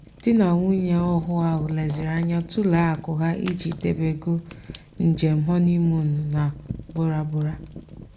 dị na nwunye ọhụụ ahụ leziri anya tulee akụ ha iji debeego njem họnịmuunu na bora bora.